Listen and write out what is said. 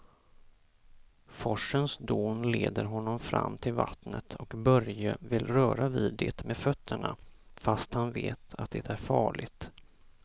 Forsens dån leder honom fram till vattnet och Börje vill röra vid det med fötterna, fast han vet att det är farligt.